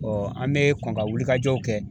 Ɔɔ an me kɔn ka wulikajɔw kɛ